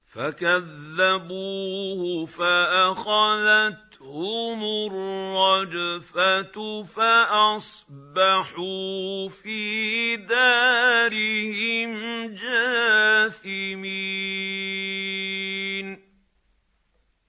فَكَذَّبُوهُ فَأَخَذَتْهُمُ الرَّجْفَةُ فَأَصْبَحُوا فِي دَارِهِمْ جَاثِمِينَ